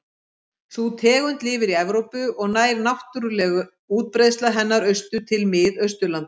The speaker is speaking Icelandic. Sú tegund lifir í Evrópu og nær náttúruleg útbreiðsla hennar austur til Mið-Austurlanda.